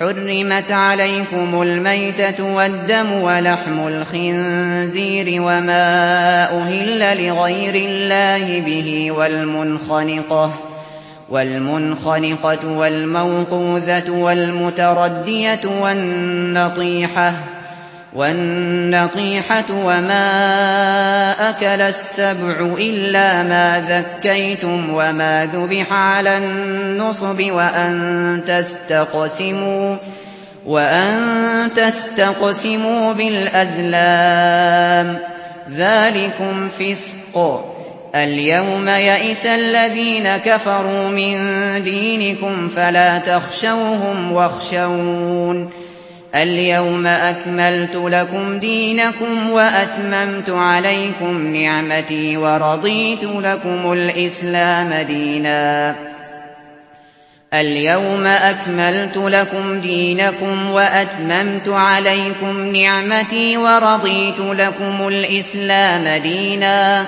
حُرِّمَتْ عَلَيْكُمُ الْمَيْتَةُ وَالدَّمُ وَلَحْمُ الْخِنزِيرِ وَمَا أُهِلَّ لِغَيْرِ اللَّهِ بِهِ وَالْمُنْخَنِقَةُ وَالْمَوْقُوذَةُ وَالْمُتَرَدِّيَةُ وَالنَّطِيحَةُ وَمَا أَكَلَ السَّبُعُ إِلَّا مَا ذَكَّيْتُمْ وَمَا ذُبِحَ عَلَى النُّصُبِ وَأَن تَسْتَقْسِمُوا بِالْأَزْلَامِ ۚ ذَٰلِكُمْ فِسْقٌ ۗ الْيَوْمَ يَئِسَ الَّذِينَ كَفَرُوا مِن دِينِكُمْ فَلَا تَخْشَوْهُمْ وَاخْشَوْنِ ۚ الْيَوْمَ أَكْمَلْتُ لَكُمْ دِينَكُمْ وَأَتْمَمْتُ عَلَيْكُمْ نِعْمَتِي وَرَضِيتُ لَكُمُ الْإِسْلَامَ دِينًا ۚ